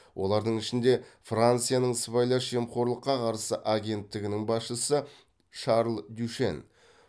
олардың ішінде францияның сыбайлас жемқорлыққа қарсы агенттігінің басшысы шарль дюшен